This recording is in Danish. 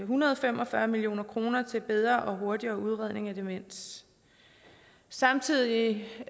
hundrede og fem og fyrre million kroner til bedre og hurtigere udredning af demens samtidig